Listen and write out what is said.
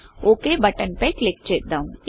OKఓకేబటన్ పై క్లిక్ చేద్దాం